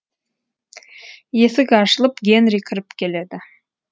есік ашылып генри кіріп келеді